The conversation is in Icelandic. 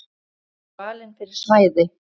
Þau eru valin fyrir svæðið.